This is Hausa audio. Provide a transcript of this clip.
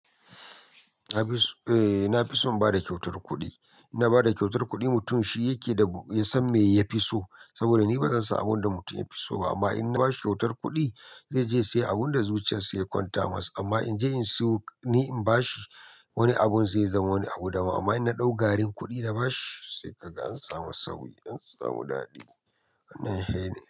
Nafis Eh, na fi son ba da kyautar kuɗi. In na ba da kyautar kuɗi, mutum shi yake da ya san me ya fi so. Saboda ni ba zan san abin da mutum ya fi so ba. Amma in na bashi kyautar kuɗi, zai je ya sai abin da zuciyar sa ya kwanta masa. Amma in je in siyo ni in ba shi wani abun, zai zama wani abu daban amma in na ɗau garin kuɗi na ba shi sai kaga an samu sauyi, an samu daɗi. Wannan he ne.